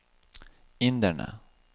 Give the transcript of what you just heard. inderne